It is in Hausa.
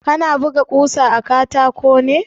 Kana buga ƙusa a katako ne?